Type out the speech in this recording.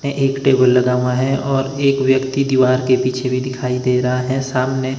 एक टेबल लगा हुआ है और एक व्यक्ति दीवार के पीछे भी दिखाई दे रहा है सामने--